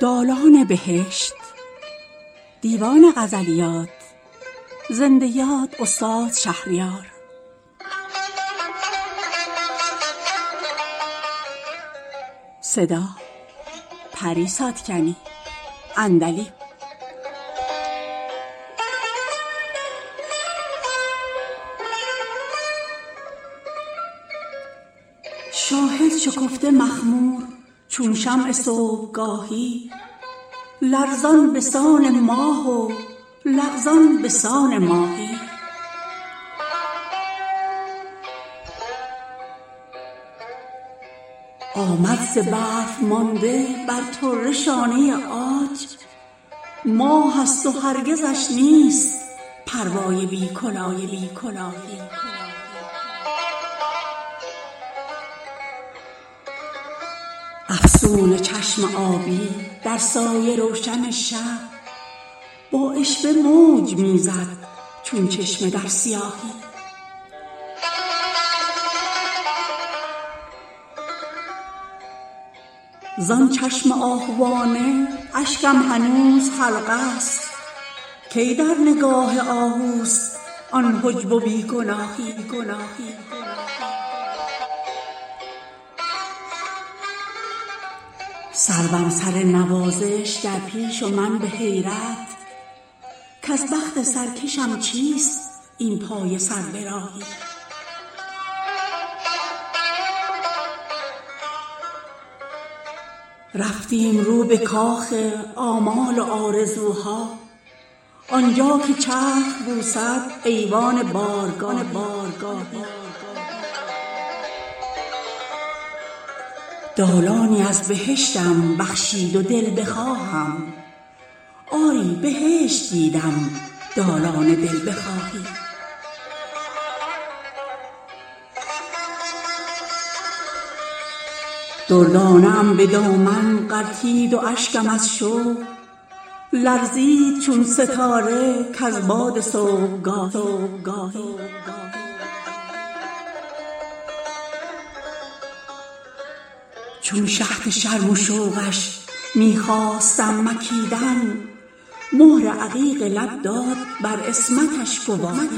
شاهد شکفته مخمور چون شمع صبحگاهی لرزان به سان ماه و لغزان به سان ماهی آمد ز برف مانده بر طره شانه عاج ماه است و هرگزش نیست پروای بی کلاهی افسون چشم آبی در سایه روشن شب با عشوه موج می زد چون چشمه در سیاهی زان چشم آهوانه اشکم هنوز حلقه است کی در نگاه آهوست آن حجب و بی گناهی سروم سر نوازش در پیش و من به حیرت کز بخت سرکشم چیست این پایه سر به راهی رفتیم رو به کاخ آمال و آرزوها آنجا که چرخ بوسد ایوان بارگاهی دالانی از بهشتم بخشید و دلبخواهم آری بهشت دیدم دالان دلبخواهی دردانه ام به دامن غلتید و اشکم از شوق لرزید چون ستاره کز باد صبحگاهی آه از شب جدایی کز تاب اشک حرمان جانم به شعله می سوخت چون شمع در تباهی یاقوت سرخ بودم بر قاف عشق و همت آوخ که زهر هجرم بخشید رنگ کاهی بیداد غمزه اش را پشت لب و بناگوش آورده خط به مهر دیوان دادخواهی کز لطف گاه گاهم طالع خجسته دارد پیوسته باد یارب این لطف گاه گاهی چون شهد شرم و شوقش می خواستم مکیدن مهر عقیق لب داد بر عصمتش گواهی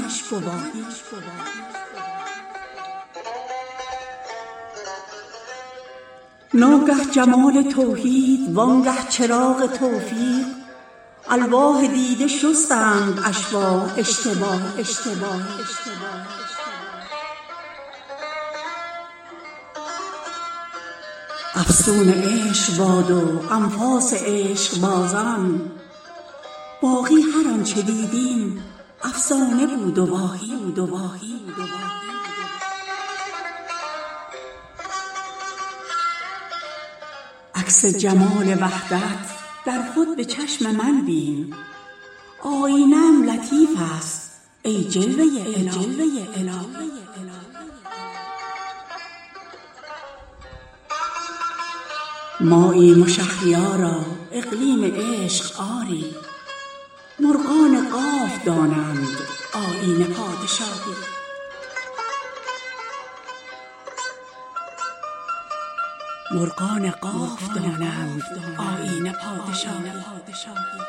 ناگه جمال توحید وانگه چراغ توفیق الواح دیده شستند اشباح اشتباهی افسون عشق باد و انفاس عشقبازان باقی هر آنچه دیدیم افسانه بود و واهی عکس جمال وحدت در خود به چشم من بین آیینه ام لطیف است ای جلوه الهی ماییم و شهریارا اقلیم عشق آری مرغان قاف دانند آیین پادشاهی